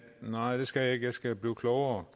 nej det skal jeg ikke jeg skal blive klogere